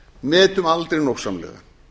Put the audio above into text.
metum aldrei nógsamlega